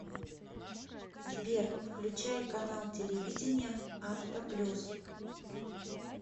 сбер включай канал телевидения авто плюс